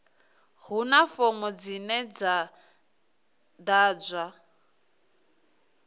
huna fomo dzine dza ḓadzwa